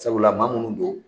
Sabula maa minnu don.